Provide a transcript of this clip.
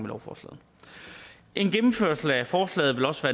lovforslaget en gennemførelse af forslaget vil også